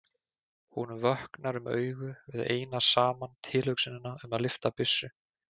Honum vöknar um augu við eina saman tilhugsunina um að lyfta byssu.